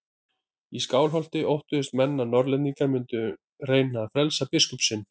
Í Skálholti óttuðust menn að Norðlendingar mundu reyna að frelsa biskup sinn.